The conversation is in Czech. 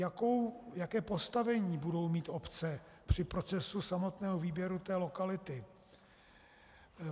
Jaké postavení budou mít obce při procesu samotného výběru té lokality?